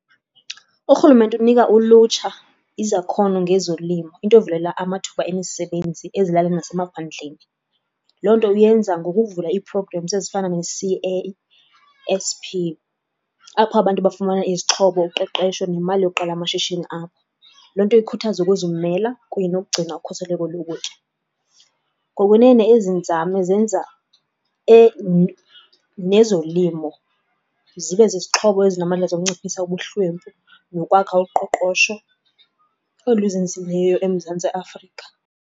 Urhulumente unika ulutsha izakhono ngezolimo, into evulela amathuba emisebenzi ezilalini nasemaphandleni. Loo nto uyenza ngokuvula ii-programs ezifana no-C_A_S_P apho abantu bafumana izixhobo, uqeqesho nemali yokuqala amashishini abo. Loo nto ikhuthaza ukuzimela kunye nokugcina ukhuseleko lokutya. Ngokwene ezi nzame zenza nezolimo zibe zizixhobo ezinamandla zokunciphisa ubuhlwempu nokwakha uqoqosho oluzinzileyo eMzantsi Afrika.